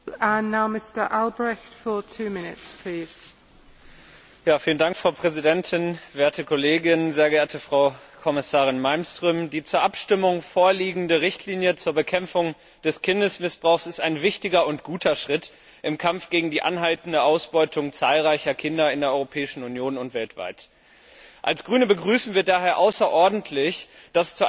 Frau Präsidentin, sehr geehrte Frau Kommissarin Malmström, werte Kolleginnen und Kollegen! Die zur Abstimmung vorliegende Richtlinie zur Bekämpfung des Kindesmissbrauchs ist ein wichtiger und guter Schritt im Kampf gegen die anhaltende Ausbeutung zahlreicher Kinder in der Europäischen Union und weltweit. Als Grüne begrüßen wir daher außerordentlich, dass es zu einer tragfähigen Einigung zwischen Europäischem Parlament und Ministerrat gekommen ist.